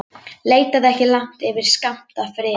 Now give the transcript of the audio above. Leitaðu ekki langt yfir skammt að friði.